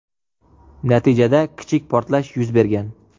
Natijada kichik portlash yuz bergan.